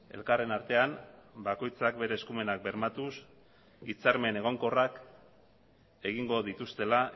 elkarren artean bakoitzak bere eskumenak bermatuz hitzarmen egonkorrak egingo dituztela